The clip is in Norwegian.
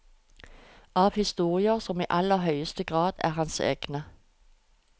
Av historier som i aller høyeste grad er hans egne.